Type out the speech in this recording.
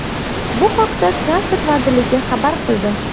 Bu haqda Transport vazirligi xabar qildi .